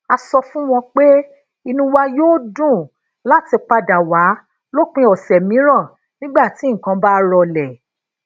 a sọ fún wọn pé inú wa yóò dùn láti padà wá lópin òsè mìíràn nígbà tí nǹkan bá rọlè